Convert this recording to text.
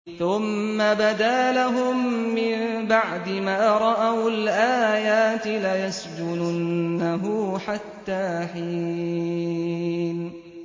ثُمَّ بَدَا لَهُم مِّن بَعْدِ مَا رَأَوُا الْآيَاتِ لَيَسْجُنُنَّهُ حَتَّىٰ حِينٍ